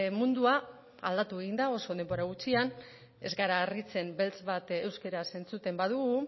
mundua aldatu egin da oso denbora gutxian ez gara harritzen beltz bat euskaraz entzuten badugu